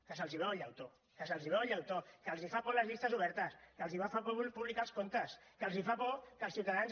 que se’ls veu el llautó que se’ls veu el llautó que els fa por les llistes obertes que els fa por publicar els comptes que els fa por que els ciutadans